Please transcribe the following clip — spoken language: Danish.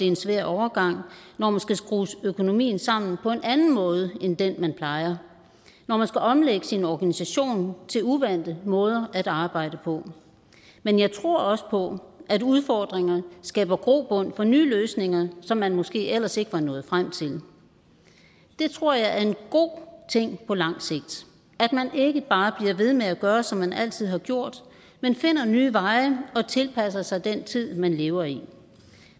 en svær overgang når man skal skrue økonomien sammen på en anden måde end den man plejer når man skal omlægge sin organisation til uvante måder at arbejde på men jeg tror også på at udfordringer skaber grobund for nye løsninger som man måske ellers ikke var nået frem til det tror jeg er en god ting på lang sigt at man ikke bare bliver ved med at gøre som man altid har gjort men finder nye veje og tilpasser sig den tid man lever i